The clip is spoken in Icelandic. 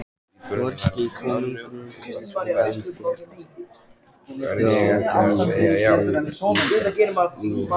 Norska konungsfjölskyldan féll frá í heilu lagi.